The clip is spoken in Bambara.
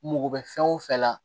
Mako bɛ fɛn o fɛn la